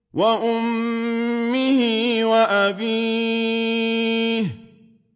وَأُمِّهِ وَأَبِيهِ